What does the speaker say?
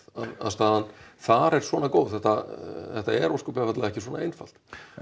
að staðan þar er svona góð þetta þetta er ósköp einfaldlega ekki svona einfalt